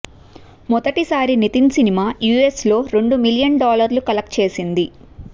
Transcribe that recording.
మొదటిసారి Nitin cinema US లో రెండు మిలియన్ డాలర్లు కెలెక్ట్ చేసింది